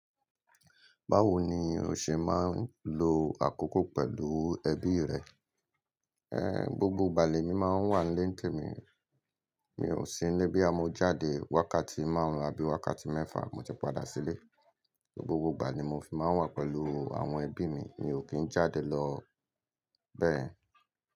Báwo ni o ṣe máa ń lo àkókò pẹ̀lú ẹbí rẹ? Ẹ́, gbogbo ìgbà lè mi máa ń wà nílé tèmí, mi ò sí nílé bí a mo jáde wákàtí márùn abi wákàtí mẹ́fà mo ti padà sílé. Gbogbo ìgbà ni mo fi máa ń wà pẹ̀lú àwọn ẹbí mi, mi ò kí ń jáde lọ bẹ́ẹ̀.